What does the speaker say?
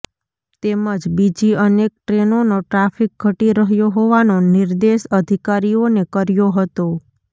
તેમજ બીજી અનેક ટ્રેનોનો ટ્રાફિક ઘટી રહ્યો હોવાનો નિર્દેશ અધિકારીઓને કર્યો હતો